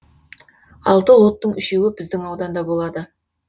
алты лоттың үшеуі біздің ауданда болады